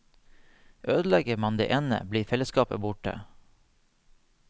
Ødelegger man det ene, blir felleskapet borte.